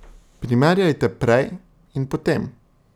Primerjate prej in potem.